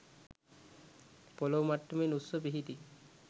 පොළෝ මට්ටමෙන් උස්ව පිහිටි